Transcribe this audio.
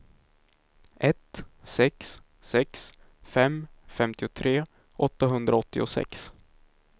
ett sex sex fem femtiotre åttahundraåttiosex